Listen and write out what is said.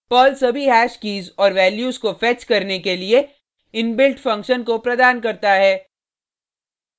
Perl सभी hash keys और values को फेच करने के लिए इनबिल्ट फंक्शन को प्रदान करता है